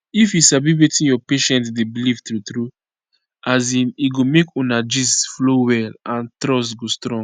if you sabi wetin your patient dey believe true true as in e go make una gist flow well and trust go strong